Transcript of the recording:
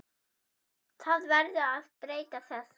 Það verður að breyta þessu.